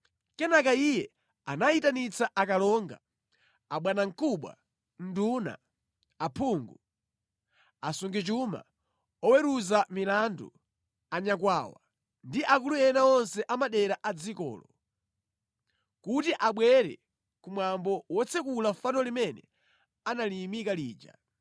Kenaka iye anayitanitsa akalonga, abwanamkubwa, nduna, aphungu, asungichuma, oweruza milandu, anyakwawa ndi akulu ena onse a madera a dzikolo, kuti abwere ku mwambo wotsekula fano limene analiyimika lija.